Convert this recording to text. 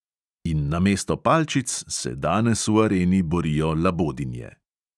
In namesto palčic se danes v areni borijo labodinje.